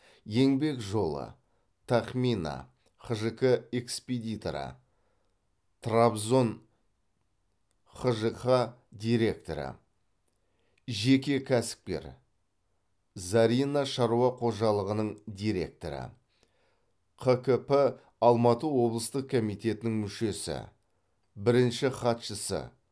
еңбек жолы тахмина хжқ экспедиторы трабзон хжқ директоры жеке кәсіпкер зарина шаруа қожалығының директоры қкп алматы облыстық комитетінің мүшесі бірінші хатшысы